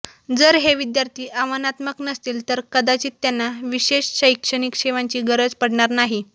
जर हे विद्यार्थी आव्हानात्मक नसतील तर कदाचित त्यांना विशेष शैक्षणिक सेवांची गरज पडणार नाही